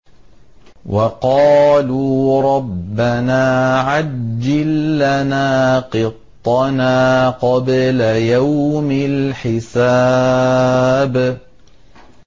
وَقَالُوا رَبَّنَا عَجِّل لَّنَا قِطَّنَا قَبْلَ يَوْمِ الْحِسَابِ